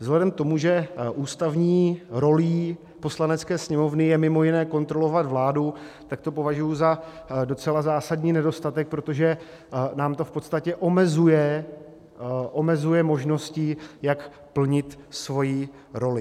Vzhledem k tomu, že ústavní rolí Poslanecké sněmovny je mimo jiné kontrolovat vládu, tak to považuji za docela zásadní nedostatek, protože nám to v podstatě omezuje možnosti, jak plnit svoji roli.